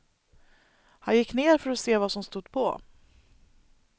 Han gick ner för att se vad som stod på.